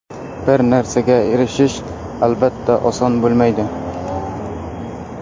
Bir narsaga erishish, albatta, oson bo‘lmaydi.